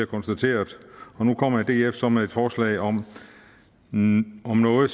konstateret og nu kommer df så med et forslag om noget